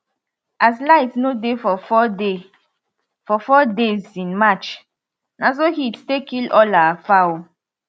as light no dey for 4 dey for 4 days in march na so heat take kill all our fowl